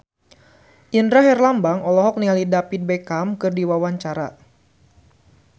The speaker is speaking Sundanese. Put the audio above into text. Indra Herlambang olohok ningali David Beckham keur diwawancara